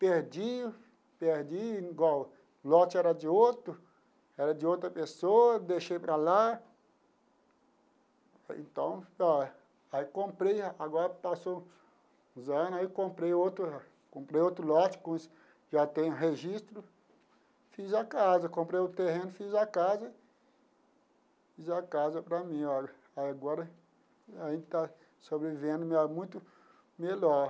perdi, perdi, igual, o lote era de outro, era de outra pessoa, deixei para lá, falei então, ó, aí comprei, agora passou os anos, aí comprei outro, comprei outro lote com isso, já tenho registro, fiz a casa, comprei o terreno, fiz a casa, fiz a casa para mim, ó, aí agora a gente está sobrevivendo muito melhor.